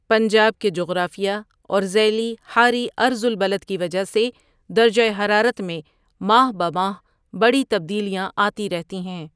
پنجاب کے جغرافیہ اور ذیلی حاری عرض البلد کی وجہ سے درجہ حرارت میں ماہ بہ ماہ بڑی تبدیلیاں آتی رہتی ہیں۔